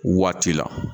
Waati la